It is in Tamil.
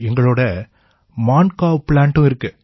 எங்களோட மான்காவ் ப்ளாண்டும் இருக்கு